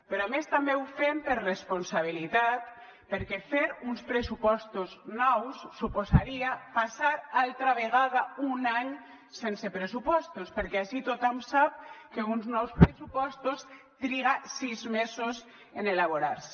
però a més també ho fem per responsabilitat perquè fer uns pressupostos nous suposaria passar altra vegada un any sense pressupostos perquè ací tothom sap que uns nous pressupostos triguen sis mesos en elaborar se